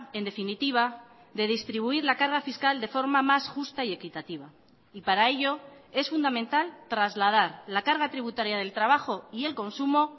en definitiva de distribuir la carga fiscal de forma más justa y equitativa y para ello es fundamental trasladar la carga tributaria del trabajo y el consumo